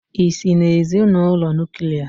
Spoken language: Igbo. Ị́si n'ezinụlọ Nuklià?